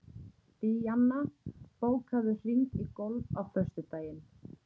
Díanna, bókaðu hring í golf á föstudaginn.